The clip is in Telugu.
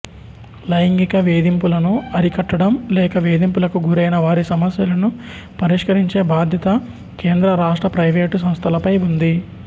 లైంగిక వేధింపులను అరికట్టడం లేక వేధింపులకు గురైన వారి సమస్యలను పరిష్కరించే బాధ్యత కేంద్ర రాష్ట్ర ప్రైవేటు సంస్థలపై ఉంది